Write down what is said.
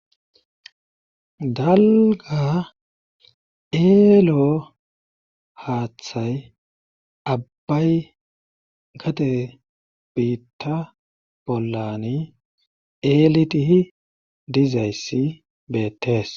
dalga eelo haaththay abbay gate biitta bollani elitihi dizayssi beettees